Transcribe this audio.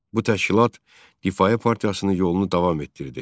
Bu təşkilat Difayə partiyasının yolunu davam etdirdi.